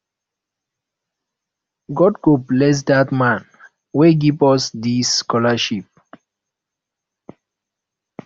god go bless dat man wey give us dis scholarship